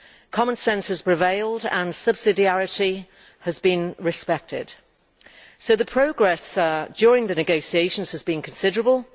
Common sense has prevailed and subsidiarity has been respected, so the progress made during the negotiations has been considerable.